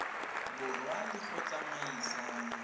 borwa le go di tsamaisa